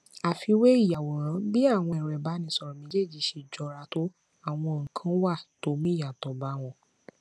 àfiwé ìyàwòrán bí àwọn èrọ ìbánisòrò méjèèjì ṣe jọra tó àwọn nnkán wà tó mú ìyàtò bá wọn